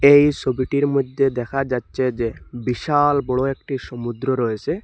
এই সবিটির মধ্যে দেখা যাচ্ছে যে বিশাল বড় একটি সমুদ্র রয়েসে।